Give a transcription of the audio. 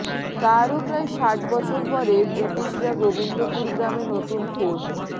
তারও প্রায় ষাট বছর পরে ব্রিটিশরা গোবিন্দপুর গ্রামে নতুন ফোর্ট